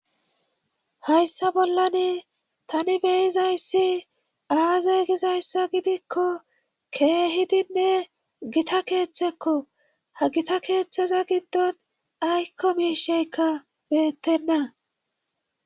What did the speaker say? Hayssa bollani tani beyizayssi aaze gizayssa gidikko keehidinne gita keeththekko ha gita keeththeza giddon ayko miisheykka beettenna.